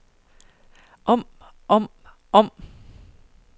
om om om